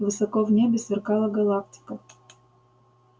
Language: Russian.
высоко в небе сверкала галактика